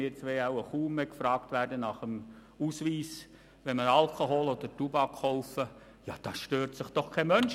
Tut das aber eine jüngere Person an einer Kasse in der Schlange vor uns, wird sie nach dem Ausweis gefragt, und daran stört sich auch kein Mensch.